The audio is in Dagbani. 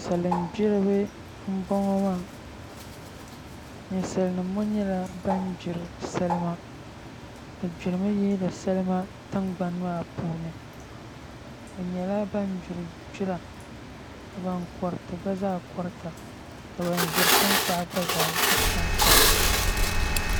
Salin gbiribi n boŋo maa ninsal nim ŋo nyɛla ban gbiri salima bi gbirimi yihiri salima tingbani maa puuni bi nyɛla ban gbiri gbira ka ban koriti gba zaa korita ka ban ʒiri tankpaɣu gba zaa ʒira